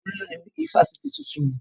Tolú ló ni ifásitì tuntun yẹn